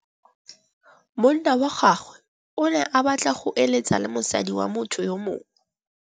Monna wa gagwe o ne a batla go êlêtsa le mosadi wa motho yo mongwe.